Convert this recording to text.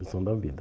Lição da vida.